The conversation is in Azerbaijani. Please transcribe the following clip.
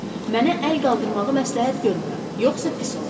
Mənə əl qaldırmağı məsləhət görmürəm, yoxsa pis olar.